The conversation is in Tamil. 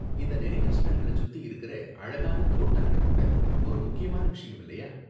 இந்த நினைவு சின்னங்கள சுத்தி இருக்குற அழகான தோட்டங்கள் கூட ஒரு முக்கியமான விஷயம், இல்லையா?